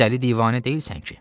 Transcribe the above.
Dəli divanə deyilsən ki?